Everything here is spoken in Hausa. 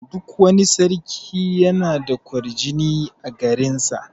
Duk wani sarki yana da ƙwarjini a garin sa.